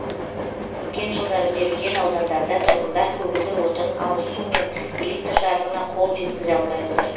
өткен жылдары берілген аудандарда тұрғындар көгілдір отын ауыз су мен электр жарығына қол жеткізе алмай отыр